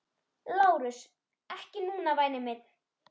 LÁRUS: Ekki núna, væni minn.